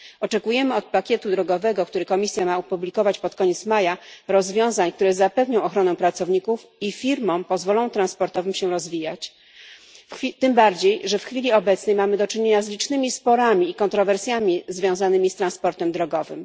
Oczekujemy od pakietu drogowego, który Komisja ma opublikować pod koniec maja, rozwiązań, które zapewnią ochronę pracowników i pozwolą firmom transportowym się rozwijać, tym bardziej, że w chwili obecnej mamy do czynienia z licznymi sporami i kontrowersjami związanymi z transportem drogowym.